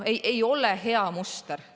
Ei ole hea muster.